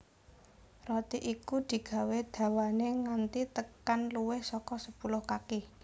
Roti iku digawé dawané nganti tekan luwih saka sepuluh kaki